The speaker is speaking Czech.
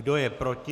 Kdo je proti?